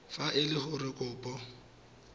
fa e le gore kopo